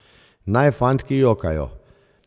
Naj fantki jokajo.